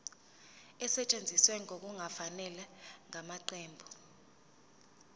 esetshenziswe ngokungafanele ngamaqembu